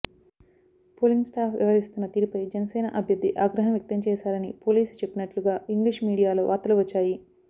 polling staff వ్యవహరిస్తున్న తీరుపై జనసేన అభ్యర్థి ఆగ్రహం వ్యక్తం చేశారని పోలీసులు చెప్పినట్లుగా ఇంగ్లీష్ మీడియాలో వార్తలు వచ్చాయి